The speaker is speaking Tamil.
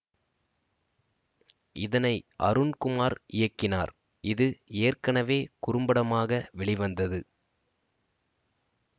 இதனை அருண் குமார் இயக்கினார் இது ஏற்கனவே குறும்படமாக வெளிவந்தது